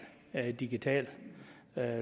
rent digital